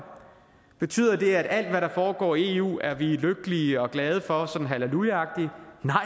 betyder det at alt hvad der foregår i eu er vi lykkelige og glade for sådan hallelujaagtigt nej